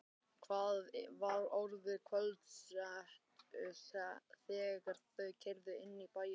Það var orðið kvöldsett þegar þau keyrðu inn í bæinn.